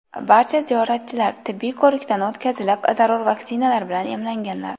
Barcha ziyoratchilar tibbiy ko‘rikdan o‘tkazilib, zarur vaksinalar bilan emlanganlar.